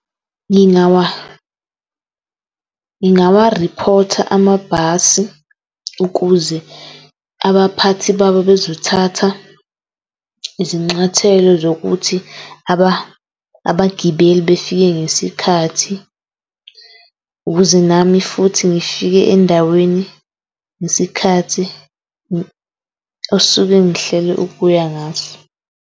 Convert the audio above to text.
Ngingawarephotha amabhasi ukuze abaphathi babo bezothatha zokuthi abagibeli befike ngesikhathi ukuze nami futhi ngifike endaweni ngesikhathi osuke ngihlele ukuya ngaso.